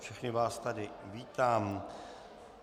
Všechny vás tady vítám.